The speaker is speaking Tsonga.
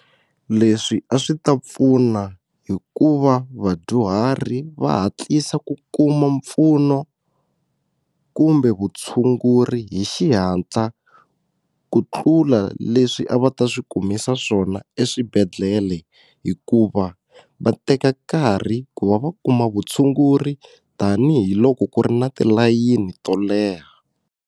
Leswi a swi ta pfuna hi ku va vadyuhari va hatlisa ku kuma mpfuno kumbe vutshunguri hi xihatla ku tlula leswi a va ta swi kumisa swona eswibedhlele hikuva va teka nkarhi ku va va kuma vutshunguri tanihiloko ku ri na tilayini to leha.